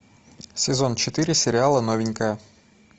сезон четыре сериала новенькая